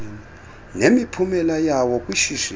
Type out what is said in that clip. nemiphumela yawo kwishishini